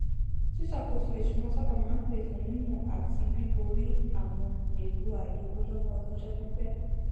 ṣíṣàkóso ìṣúná sábà máa n pè fún mímọ àti bíborí àwọn ẹrù àìlówólọwọ ọlọjọ pípẹ